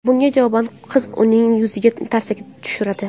Bunga javoban qiz uning yuziga tarsaki tushiradi.